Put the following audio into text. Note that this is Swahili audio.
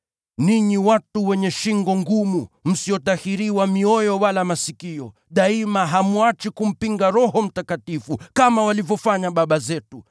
“Enyi watu wenye shingo ngumu, msiotahiriwa mioyo wala masikio, daima hamwachi kumpinga Roho Mtakatifu, kama walivyofanya baba zenu.